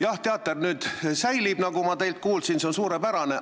Jah, teater jääb nüüd alles, nagu ma teilt kuulsin, ja see on suurepärane.